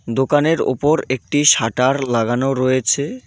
দোকানের ওপর একটি শাটার লাগানো রয়েছে.